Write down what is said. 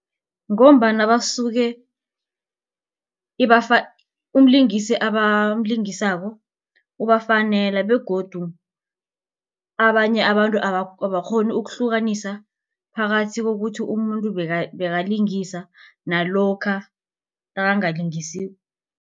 Ngombana basuke umlingisi abalimngisako ubafanela begodu abanye abantu abakghoni ukuhlukanisa phakathi kokuthi umuntu bekalingisa nalokha nakangalingisiko.